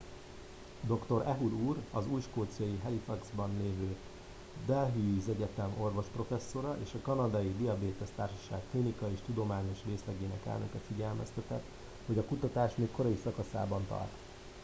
dr. ehud ur az új skóciai halifaxban lévő dalhousie egyetem orvosprofesszora és a kanadai diabétesz társaság klinikai és tudományos részlegének elnöke figyelmeztetett hogy a kutatás még korai szakaszában tart